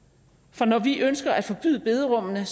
for når vi ønsker at forbyde bederummene